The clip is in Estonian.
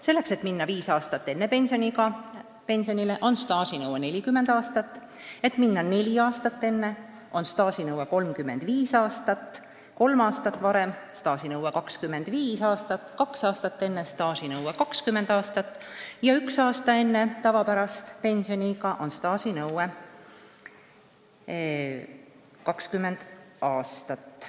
Selleks, et minna viis aastat enne pensioniiga pensionile, on staažinõue 40 aastat, et minna neli aastat enne, on staažinõue 35 aastat, kolm aastat varem tähendab staažinõuet 25 aastat, kaks aastat varem staažinõuet 20 aastat ja üks aasta varem staažinõuet 20 aastat.